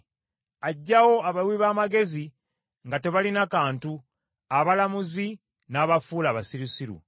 Aggyawo abawi b’amagezi nga tebalina kantu, abalamuzi n’abafuula abasirusiru.